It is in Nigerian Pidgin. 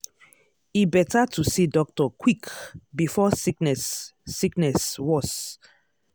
e better to see doctor quick before sickness sickness worse.